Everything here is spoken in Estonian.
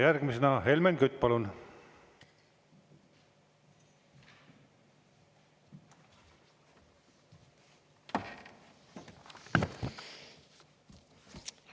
Järgmisena Helmen Kütt, palun!